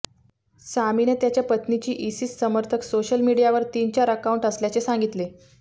सामीने त्याच्या पत्नीची इसिस समर्थक सोशल मिडीयावर तीन चार अकाऊंट असल्याचे सांगितले